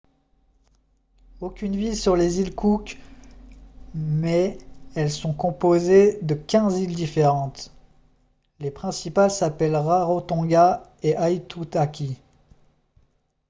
aucune ville sur les îles cook mais elles sont composées de 15 îles différentes les principales s'appellent rarotonga et aitutaki